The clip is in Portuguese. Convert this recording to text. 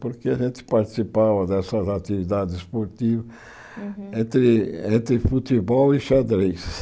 Porque a gente participava dessas atividades esportivas entre entre futebol e xadrez.